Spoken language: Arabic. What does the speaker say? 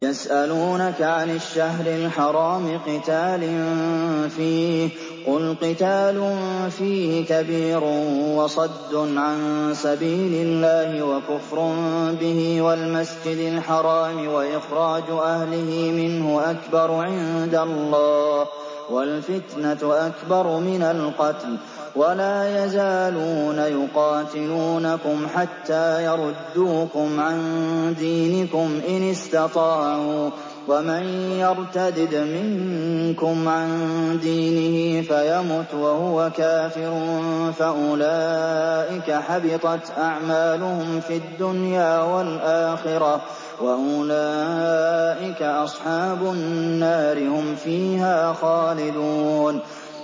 يَسْأَلُونَكَ عَنِ الشَّهْرِ الْحَرَامِ قِتَالٍ فِيهِ ۖ قُلْ قِتَالٌ فِيهِ كَبِيرٌ ۖ وَصَدٌّ عَن سَبِيلِ اللَّهِ وَكُفْرٌ بِهِ وَالْمَسْجِدِ الْحَرَامِ وَإِخْرَاجُ أَهْلِهِ مِنْهُ أَكْبَرُ عِندَ اللَّهِ ۚ وَالْفِتْنَةُ أَكْبَرُ مِنَ الْقَتْلِ ۗ وَلَا يَزَالُونَ يُقَاتِلُونَكُمْ حَتَّىٰ يَرُدُّوكُمْ عَن دِينِكُمْ إِنِ اسْتَطَاعُوا ۚ وَمَن يَرْتَدِدْ مِنكُمْ عَن دِينِهِ فَيَمُتْ وَهُوَ كَافِرٌ فَأُولَٰئِكَ حَبِطَتْ أَعْمَالُهُمْ فِي الدُّنْيَا وَالْآخِرَةِ ۖ وَأُولَٰئِكَ أَصْحَابُ النَّارِ ۖ هُمْ فِيهَا خَالِدُونَ